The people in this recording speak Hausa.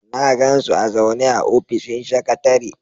Na gan su a zaune a ofishin sakatare.